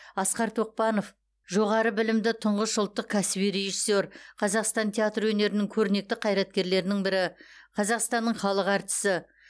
асқар тоқпанов жоғары білімді түңғыш ұлттық кәсіби режиссер қазақстан театр өнерінің көрнекті қайраткерлерінің бірі қазақстанның халық артисі